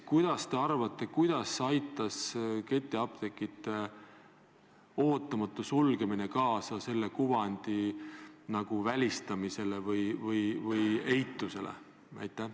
Mis te arvate, kuidas aitas ketiapteekide ootamatu sulgemine kaasa sellise kuvandi välistamisele või eitusele?